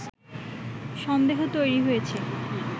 সন্দেহ তৈরি হয়েছে”